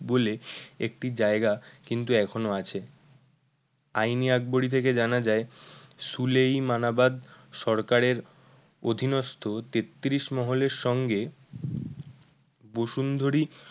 বলে একটি জায়গা কিন্তু এখনো আছে আইন-ই-আকবরী থেকে জানা যায় সুলেইমানাবাদ সরকারের অধীনস্থ তেত্রিশ মহলের সঙ্গে বসুন্ধরি